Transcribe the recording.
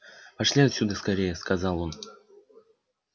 пошли отсюда скорее сказал он